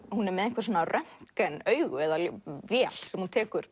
hún er með röntgenaugu eða vél sem hún tekur